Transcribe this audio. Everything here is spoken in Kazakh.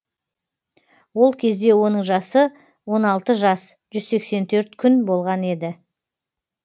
ол кезде оның жасы он алты жас жүз сексен төрт күн болған еді